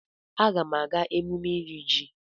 Agam aga emume iri ji.